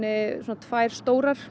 tvær stórar